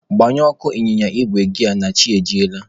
Gbanyetụ ọkụ ịnyịnya igwe gị a na chi ejiela.